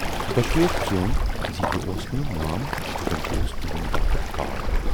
دۅشووٕے ژیوٗن زِ یہِ اوس نہٕ مام بٔلۍکہِ اوس تِہٕندِ باپتھ کال۔